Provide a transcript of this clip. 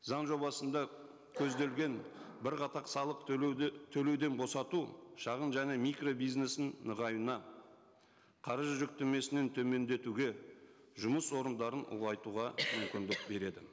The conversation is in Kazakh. заң жобасында көзделген бірқатар салық төлеуден босату шағын және микробизнесінің нығаюына қаржы жүктемесінің төмендетуге жұмыс орындарын ұлғайтуға мүмкіндік береді